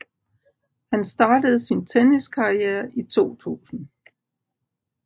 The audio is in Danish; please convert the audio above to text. Han startede sin tenniskarriere i 2000